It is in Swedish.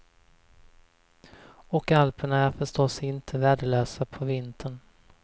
Och alperna är förstås inte värdelösa på vintern.